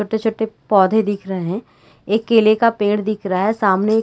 छोटे-छोटे पौधे दिख रहे है एक केले का पेड़ दिख रहा है सामने--